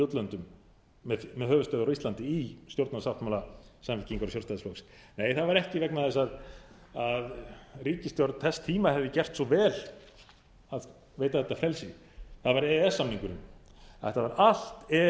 útlöndum með höfuðstöðvar á íslandi í stjórnarsáttmála samfylkingar og sjálfstæðisflokks nei það var ekki vegna þess að ríkisstjórn þess tíma hefði gert svo vel að veita þetta frelsi það var e e s samningurinn þetta var allt e e